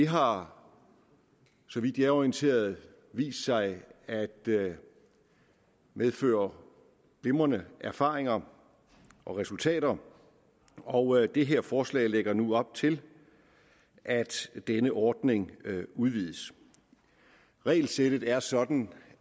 har så vidt jeg er orienteret vist sig at medføre glimrende erfaringer og resultater og det her forslag lægger nu op til at denne ordning udvides regelsættet er sådan